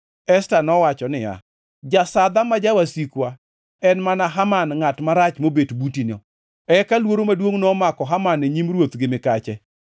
Esta nowacho niya, “Jasadha ma jawasikwa en mana Haman ngʼat marach mobet butino.” Eka luoro maduongʼ nomako Haman e nyim ruoth gi mikache.